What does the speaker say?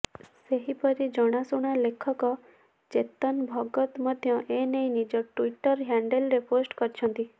ସେହିପରି ଜଣାଶୁଣା ଲେଖକ ଚେତନ ଭଗତ ମଧ୍ୟ ଏନେଇ ନିଜ ଟ୍ୱିଟର ହ୍ୟାଣ୍ଡେଲରେ ପୋଷ୍ଟ କରିଛନ୍ତି